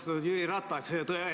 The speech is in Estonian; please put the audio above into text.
Austatud Jüri Ratas!